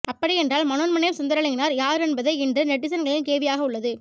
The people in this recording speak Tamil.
அப்படியென்றால் மனோன்மணியம் சுந்தரலிங்கனார் யார் என்பதே இன்று நெட்டிசன்களில் கேள்வியாக உள்ளது